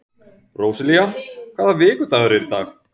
Róselía, hvaða vikudagur er í dag?